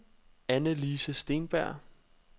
Anne-Lise Steenberg